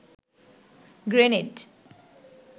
grenade